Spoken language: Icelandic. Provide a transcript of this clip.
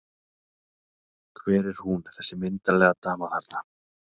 Hver er hún þessi myndarlega dama þarna?